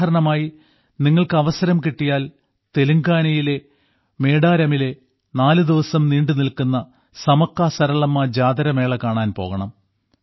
ഉദാഹരണമായി നിങ്ങൾക്ക് അവസരം കിട്ടിയാൽ തെലുങ്കാനയിലെ മേഡാരമിലെ നാലുദിവസം നീണ്ടുനിൽക്കുന്ന സമക്കസരളമ്മ ജാത്ര മേള കാണാൻ പോകണം